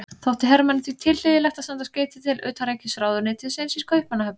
Þótti Hermanni því tilhlýðilegt að senda skeyti til utanríkisráðuneytisins í Kaupmannahöfn.